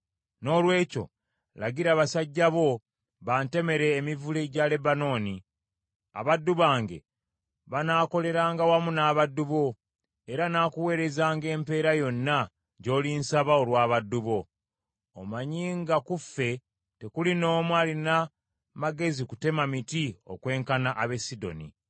“Noolwekyo lagira basajja bo bantemere emivule gya Lebanooni. Abaddu bange banaakoleranga wamu n’abaddu bo, era nakuweerezanga empeera yonna, gy’olinsaba olw’abaddu bo. Omanyi nga ku ffe tekuli n’omu alina magezi kutema miti okwenkana ab’e Sidoni.”